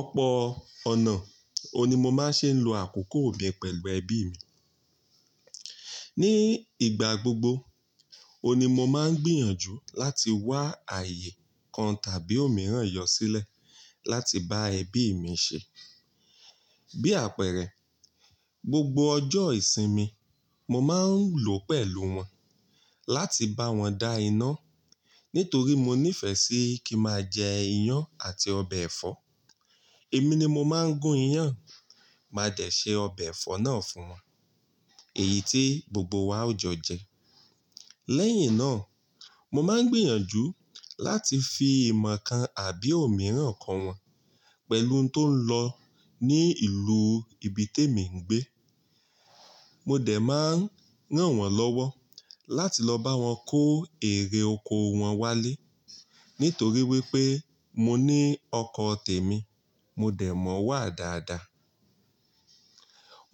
Ọ̀pọ̀ ọ̀nà, òun ni mo máa ń ṣe ń lo àkókò mi pẹ̀lú ẹbí mi. Ní ìgbà gbogbo, òun ni mo máa ń gbìyànjú láti wá ààyè kan tàbí òmíràn yọ sílẹ̀ láti bá ẹbí mi ṣe. Bí àpẹẹrẹ, gbogbo ọjọ́ ìsinmi mo máa ń lò pẹ̀lú wọn láti bá wọn dá iná. Nítorí mo nífẹ́ sí kín ma jẹ iyán àti ọbẹ̀ ẹ̀fọ́, èmi ni mo máa ń gún iyán. Màá dé ṣe ọbẹ̀ ẹ̀fọ́ náà fín wọ́n. Èyí tí gbogbo wa yí ó jọ jẹ. Lẹ́yìn náà, mo máa ń gbìyànjú láti fi ìmọ̀ kan àbí òmíràn kọ wọn pẹ̀lú ohun tó ń lọ ní ìlú ibi tí èmi ń gbé. Mo dẹ̀ máa ń ràn wọ́n lọ́wọ́ láti lọ bá wọn kó èrè oko wọn wálé, nítorí wípé mo ní ọkọ̀ tèmi, mo dẹ̀ mọ wà dáadáa.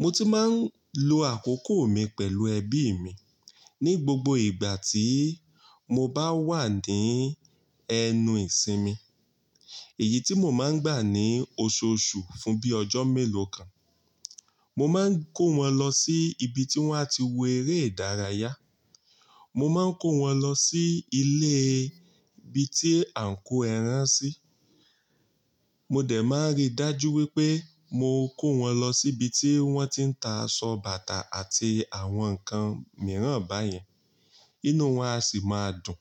Mo tí máa ń lo àkókò mi pẹ̀lú ẹbí mi ní gbogbo ìgbà tí mo bá wà ní ẹnu ìsinmi, èyí tí mo máa ń gbà ní oṣooṣù fún bíi ọjọ́ mélòó kan. Mo máa ń kó wọn lọ sí ibi tí wọ́n á ti wo eré ìdárayá. Mo máa ń kó wọn lọ sí ilé ibi tí a ń kó ẹran sí. Mo dẹ̀ máa rí dájú wípé mo kó wọn lọ sí ibi tí wọ́n ti ń ta aṣọ bàtà àti àwọn nǹkan mìíràn báyẹn, inú wọn á sì máa dùn.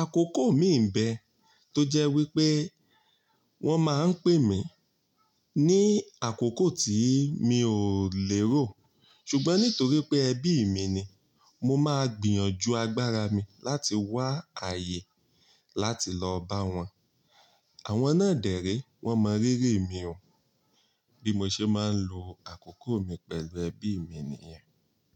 Àkókò mi ń bẹ tó jẹ́ wípé wọ́n máa ń pè mí ní àkókò tí mi ò lè ró, ṣùgbọ́n nítorí pé ẹbí mi ni, mo máa gbìyànjú agbára mi láti wá ààyè láti lọ bá wọn. Àwọn náà dẹ̀ re, wọ́n mọ rírì mi o, bí mo ṣe máa ń lo àkókò mi pẹ̀lú ẹbí mi nìyẹn.